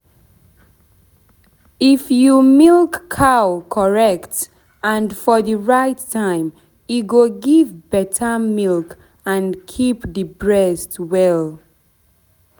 if you milk cow correct and for the right time e go give better milk and keep the breast well.